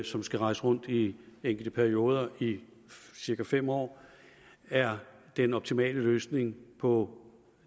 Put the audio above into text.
som skal rejse rundt i enkelte perioder i cirka fem år er den optimale løsning på